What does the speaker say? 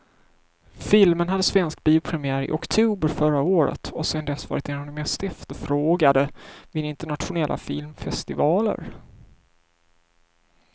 Filmen hade svensk biopremiär i oktober förra året och har sedan dess varit en av de mest efterfrågade vid internationella filmfestivaler.